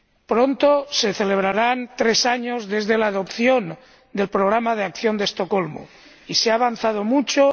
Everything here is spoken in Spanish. Pronto se celebrarán tres años desde la aprobación del Programa de Acción de Estocolmo, y se ha avanzado mucho.